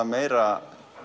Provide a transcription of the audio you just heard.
meira